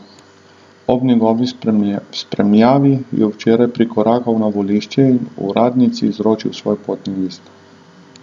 Ob njegovi spremljavi je včeraj prikorakal na volišče in uradnici izročil svoj potni list.